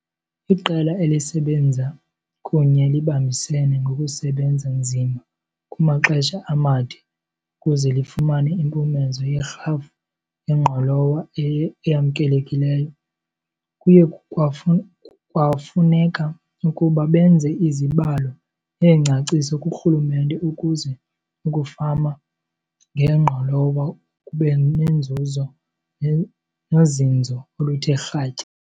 Iqela elisebenza kunye libambisene ngokusebenza nzima kumaxesha amade ukuze lifumane impumezo yerhafu yengqolowa eyamkelekileyo. Kuye kwafuneka ukuba benze izibalo neengcaciso kurhulumente ukuze ukufama ngengqolowa kube nenzuzo nozinzo oluthe kratya.